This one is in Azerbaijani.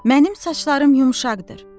Mənim saçlarım yumşaqdır.